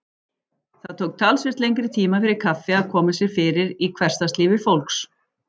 Það tók talsvert lengri tíma fyrir kaffi að koma sér fyrir í hversdagslífi fólks.